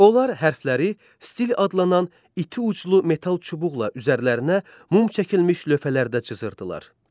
Onlar hərfləri stil adlanan iti uclu metal çubuqla üzərlərinə mum çəkilmiş lövhələrdə cızırdılar.